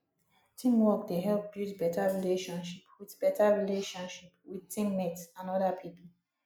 teamwork dey help build better relationship with better relationship with team mates and other people